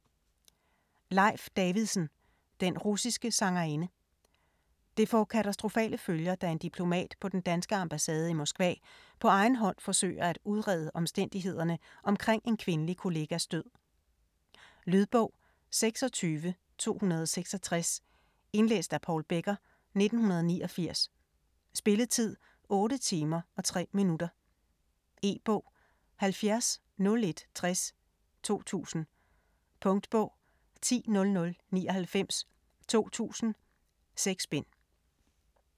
Davidsen, Leif: Den russiske sangerinde Det får katastrofale følger, da en diplomat på den danske ambassade i Moskva på egen hånd forsøger at udrede omstændighederne omkring en kvindelig kollegas død. Lydbog 26266 Indlæst af Paul Becker, 1989. Spilletid: 8 timer, 3 minutter. E-bog 700160 2000. Punktbog 100099 2000. 6 bind.